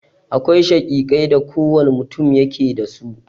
Akwai shakikai da kowane mutun yake da su.